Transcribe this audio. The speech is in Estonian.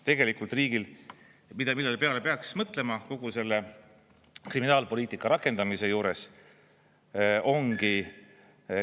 Tegelikult riigil, mille peale peaks mõtlema kogu selle kriminaalpoliitika rakendamise juures, ongi …